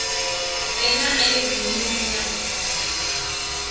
re na ayodini u na